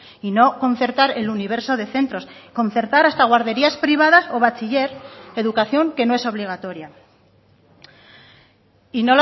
y no concertar el universo de centros concertar hasta guarderías privadas o bachiller educación que no es obligatoria y